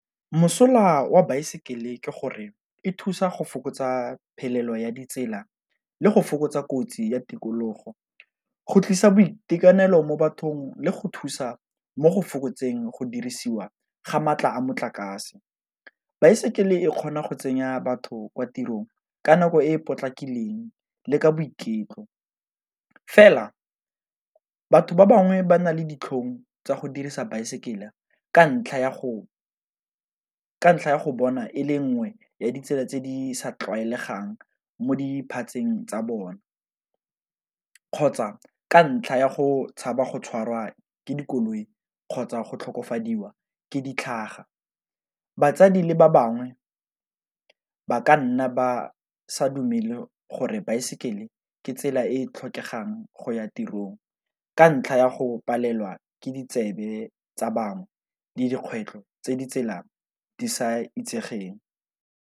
Mosola wa baesekele ke gore e thusa go fokotsa phelelo ya ditsela, le go fokotsa kotsi ya tikologo, go tlisa boitekanelo mo bathong, le go thusa mo go fokotseng go dirisiwa ga maatla a motlakase. Baesekele e kgona go tsenya batho kwa tirong ka nako e e potlakileng le ka boiketlo, fela batho ba bangwe ba na le ditlhong tsa go dirisa baesekele ka ntlha ya go bona e le nngwe ya ditsela tse di sa tlwaelegang mo diphatseng tsa bona, kgotsa ka ntlha ya go tshaba go tshwarwa ke dikoloi kgotsa go tlhokofadiwa ke ditlhaga. Batsadi le ba bangwe ba ka nna ba sa dumele gore baesekele ke tsela e e tlhokegang go ya tirong, ka ntlha ya go palelwa ke ditsebe tsa bangwe le dikgwetlho tse di tsela di sa itsegeng.